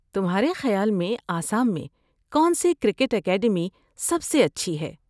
تمہارے خیال میں آسام میں کون سی کرکٹ اکیڈمی سب سے اچھی ہے؟